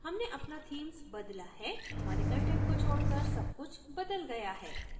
हमने अपना themes बदला है हमारे कंटेंट को छोडकर सब कुछ बदल गया है